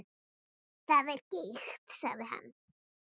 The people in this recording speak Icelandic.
Það er giktin, segir hann.